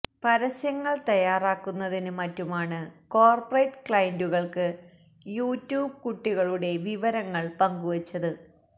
പരസ്യങ്ങള് തയ്യാറാക്കുന്നതിന് മറ്റുമാണ് കോര്പറേറ്റ് ക്ലയന്റുകള്ക്ക് യുട്യൂബ് കുട്ടികളുടെ വിവരങ്ങള് പങ്കുവച്ചത്